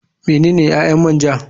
Menene ƴaƴan man ja.